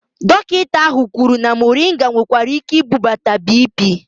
Dọkịta ahụ kwụrụ na muringa nwekwara ike ibudata biipii